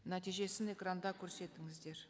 нәтижесін экранда көрсетіңіздер